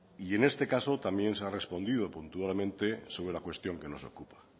y en este caso también se ha respondido sobre la cuestión que nos ocupa